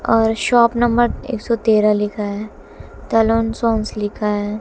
और shop number एक सौ तेरह लिखा है तलून सोंस लिखा है।